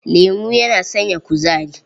Lemo yana sanya kuzari.